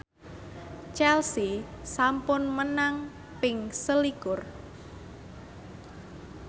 Chelsea sampun menang ping selikur